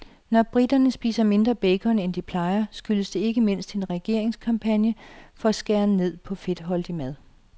Når briterne spiser mindre bacon, end de plejer, skyldes det ikke mindst en regeringskampagne for at skæren ned på fedtholdig mad.